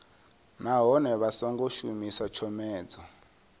nahone vha songo shumisa tshomedzo